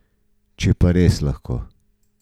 Če pa res lahko.